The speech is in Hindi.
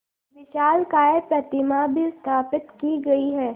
विशालकाय प्रतिमा भी स्थापित की गई है